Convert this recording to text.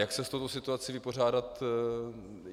Jak se s touto situací vypořádat?